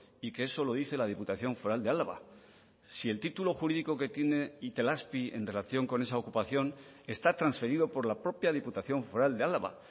y que eso lo dice la diputación foral de álava si el título jurídico que tiene itelazpi en relación con esa ocupación está transferido por la propia diputación foral de álava